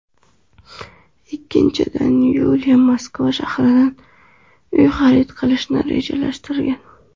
Ikkinchidan, Yuliya Moskva shahridan uy xarid qilishni rejalashtirgan.